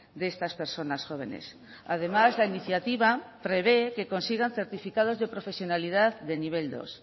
de estas personas jóvenes además la iniciativa prevé que consigan certificados de profesionalidad de nivel dos